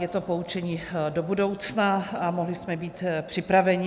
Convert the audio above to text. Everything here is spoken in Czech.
Je to poučení do budoucna a mohli jsme být připraveni.